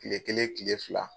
Tile kelen tile fila